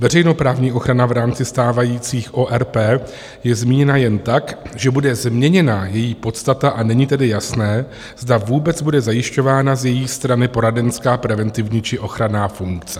Veřejnoprávní ochrana v rámci stávajících ORP je zmíněna jen tak, že bude změněna její podstata, a není tedy jasné, zda vůbec bude zajišťována z její strany poradenská, preventivní či ochranná funkce.